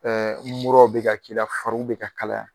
Ɛɛ ni faris bɛ ka kalaya.